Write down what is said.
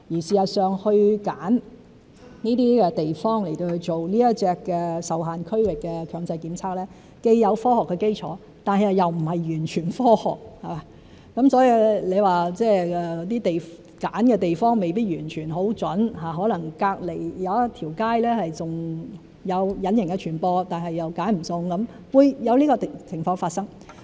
事實上，揀選這些地方做這種"受限區域"強制檢測，既有科學基礎，但又並非完全科學，所以你說揀選的地方未必完全很準確，可能隔鄰一條街還有隱形傳播，但又選不中，是會有這種情況發生。